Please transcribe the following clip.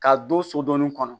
K'a don so dɔɔnin kɔnɔ